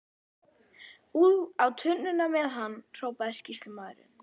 Á tunnuna með hann, hrópaði sýslumaður.